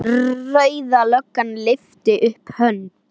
Rauða löggan lyftir upp hönd.